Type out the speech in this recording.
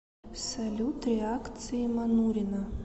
салют реакции манурина